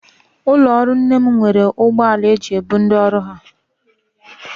Ụlọọrụ nne m nwere ụgbọala e ji ebu ndị ọrụ ha